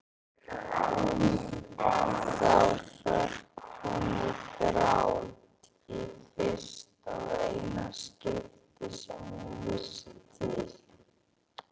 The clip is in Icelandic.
Þá hrökk hún í grát, í fyrsta og eina skiptið svo ég vissi til.